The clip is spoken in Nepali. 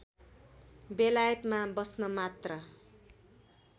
बेलायतमा बस्न मात्र